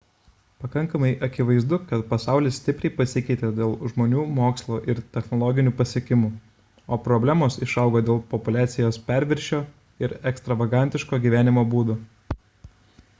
pakankamai akivaizdu kad pasaulis stipriai pasikeitė dėl žmonių mokslo ir technologinių pasiekimų o problemos išaugo dėl populiacijos perviršio ir ekstravagantiško gyvenimo būdo